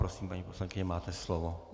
Prosím, paní poslankyně, máte slovo.